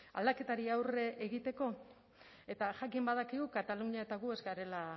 aldaketari aurre egiteko eta jakin badakigu katalunia eta gu ez garela